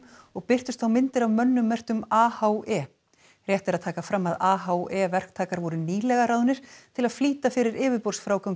og birtust þá myndir af mönnum merktum AHE rétt er að taka fram að AHE verktakar voru nýlega ráðnir til að flýta fyrir